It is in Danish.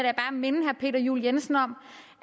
minde herre peter juel jensen om